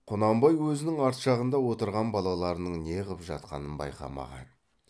құнанбай өзінің арт жағында отырған балаларының не қып жатқанын байқамаған